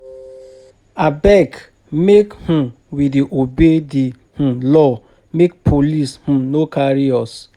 Abeg, make um we dey obey di um law make um police no carry us.